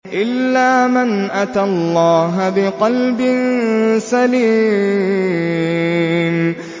إِلَّا مَنْ أَتَى اللَّهَ بِقَلْبٍ سَلِيمٍ